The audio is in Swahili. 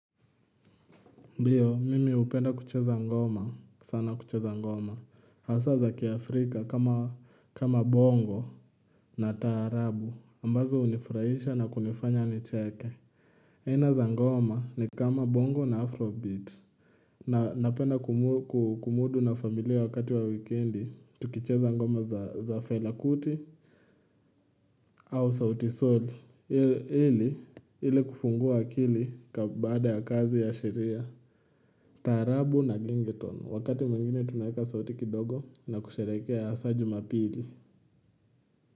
Ndiyo mimi hupenda kucheza ngoma sana kucheza ngoma Hasa za kiaafrika kama kama bongo. Na taarabu ambazo hunifurahisha na kunifanya nicheke. Ena za ngoma ni kama bongo na afrobeat. Na napenda kumudu na familia wakati wa wikendi tukucheza ngoma za felakuti. Au sautisaul ili ili kufungua akili baada ya kazi ya sheria. Tarabu na genge wakati mwengine tunayeka sauti kidogo na kusherekea hasa juma pili.